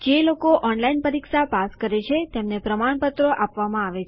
જે લોકો ઓનલાઈન પરીક્ષા પાસ કરે છે તેમને પ્રમાણપત્રો આપવામાં આવે છે